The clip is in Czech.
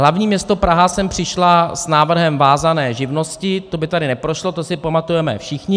Hlavní město Praha sem přišlo s návrhem vázané živnosti - to by tady neprošlo, to si pamatujeme všichni.